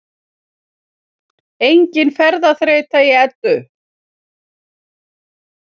Engin ferðaþreyta í Eddu